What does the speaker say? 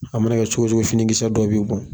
A mana kɛ cogo cogo fini kisɛ dɔ bi bɔn.